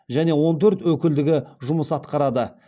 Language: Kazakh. және он төрт өкілдігі жұмыс атқарады